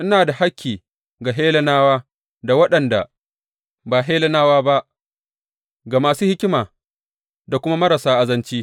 Ina da hakki ga Hellenawa da waɗanda ba Hellenawa ba, ga masu hikima da kuma marasa azanci.